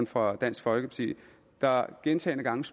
fra dansk folkeparti der gentagne gange